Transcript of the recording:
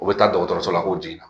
U bɛ taa dɔgɔtɔrɔso la k'o jigin